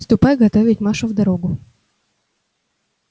ступай готовить машу в дорогу